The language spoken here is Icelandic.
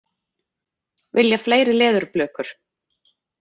Vilja fleiri leðurblökur